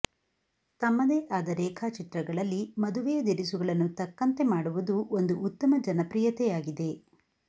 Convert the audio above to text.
ತಮ್ಮದೇ ಆದ ರೇಖಾಚಿತ್ರಗಳಲ್ಲಿ ಮದುವೆಯ ದಿರಿಸುಗಳನ್ನು ತಕ್ಕಂತೆ ಮಾಡುವುದು ಒಂದು ಉತ್ತಮ ಜನಪ್ರಿಯತೆಯಾಗಿದೆ